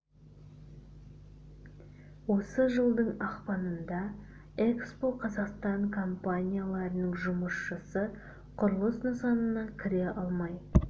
осы жылдың ақпанында экспо қазақстан компанияларының жұмысшысы құрылыс нысанына кіре алмай